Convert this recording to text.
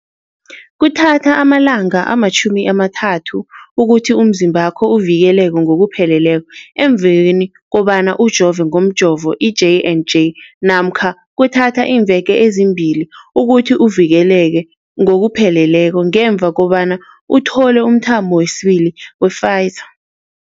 Kuthatha amalanga ama-30 ukuthi umzimbakho uvikeleke ngokupheleleko emveni kobana ujove ngomjovo i-J and J namkha kuthatha iimveke ezimbili ukuthi uvikeleke ngokupheleleko ngemva kobana uthole umthamo wesibili wePfizer.